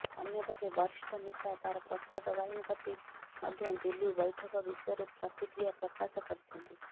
ଅନ୍ୟପକ୍ଷେ ବରିଷ୍ଠ ନେତା ତାରା ପ୍ରସାଦ ବାହିନୀପତି ମଧ୍ୟ ଦିଲ୍ଲୀ ବୈଠକ ବିଷୟରେ ପ୍ରତିକ୍ରିୟା ପ୍ରକାଶ କରିଛନ୍ତି